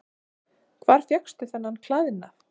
Hvar fékkstu þennan klæðnað?